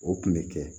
O kun bɛ kɛ